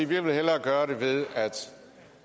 vil hellere gøre det ved at